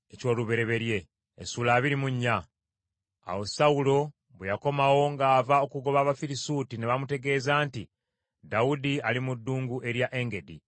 Awo Sawulo bwe yakomawo ng’ava okugoba Abafirisuuti, ne bamutegeeza nti, “Dawudi ali mu ddungu erya Engedi.”